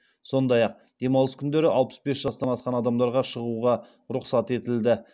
сондай ақ демалыс күндері алпыс бес жастан асқан адамдарға шығуға рұқсат етілді